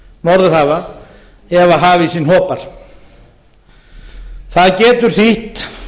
á botnsvæðum norðurhafa ef hafísinn hopar það getur þýtt